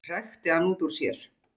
hrækti hann út úr sér.